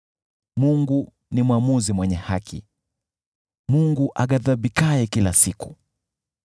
Mungu ni mwamuzi mwenye haki, Mungu aghadhibikaye kila siku.